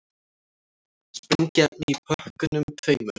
Sprengiefni í pökkunum tveimur